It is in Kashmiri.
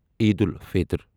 عید الفِطر